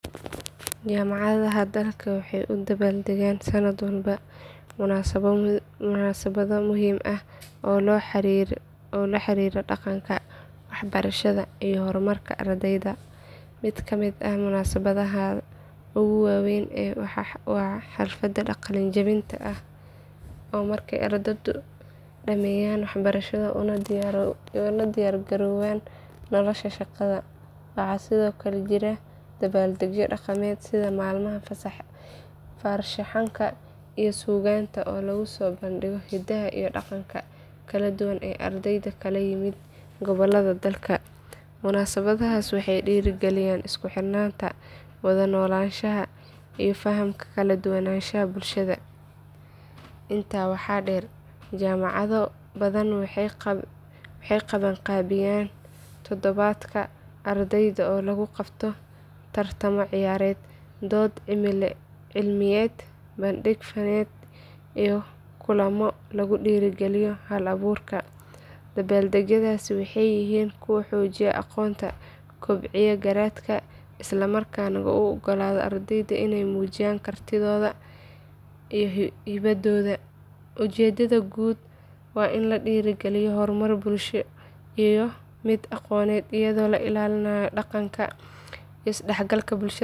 Jaamacadaha dalka waxay u dabbaaldegaan sanad walba munaasabado muhiim ah oo la xiriira dhaqanka, waxbarashada iyo horumarka ardayda. Mid ka mid ah munaasabadaha ugu weyn waa xafladda qalinjabinta oo ah markay ardaydu dhammeeyaan waxbarashada una diyaargaroobaan nolosha shaqada. Waxaa sidoo kale jira dabbaaldegyo dhaqameed sida maalmaha farshaxanka iyo suugaanta oo lagu soo bandhigo hidaha iyo dhaqanka kala duwan ee ardayda ka kala yimid gobollada dalka. Munaasabadahaas waxay dhiirrigeliyaan isku xirnaanta, wada noolaanshaha iyo fahamka kala duwanaanshaha bulshada. Intaa waxaa dheer jaamacado badan waxay qabanqaabiyaan toddobaadka ardayda oo lagu qabto tartamo ciyaareed, dood cilmiyeed, bandhig faneed iyo kulammo lagu dhiirrigeliyo hal abuurka. Dabbaaldegyadaasi waxay yihiin kuwo xoojiya aqoonta, kobciya garaadka, isla markaana u oggolaada ardayda inay muujiyaan kartidooda iyo hibadooda. Ujeeddada guud waa in la dhiirrigeliyo horumar bulsho iyo mid aqooneed iyadoo la ilaalinayo dhaqanka iyo isdhexgalka bulshada.